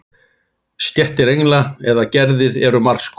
Stéttir engla eða gerðir eru margs konar.